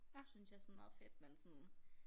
Synes jeg sådan meget fedt men sådan